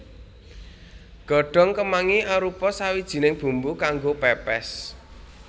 Godhong kemangi arupa sawijining bumbu kanggo pèpès